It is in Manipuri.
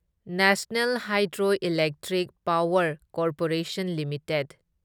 national hydroelectric power corporation limited